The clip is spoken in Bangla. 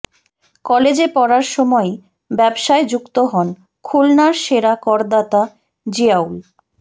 কলেজে পড়ার সময়েই ব্যবসায় যুক্ত হন খুলনার সেরা করদাতা জিয়াউল